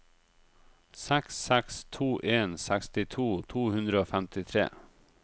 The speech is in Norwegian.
seks seks to en sekstito to hundre og femtitre